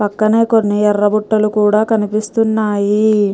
పక్కనే కొన్ని ఎర్ర బుట్టలు కూడా కనిపిస్తున్నాయి .